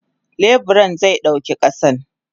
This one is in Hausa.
Leburan ze dauki kasan.